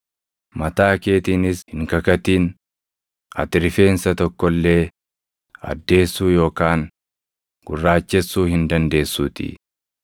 Mataa keetiinis hin kakatin; ati rifeensa tokko illee addeessuu yookaan gurraachesuu hin dandeessuutii.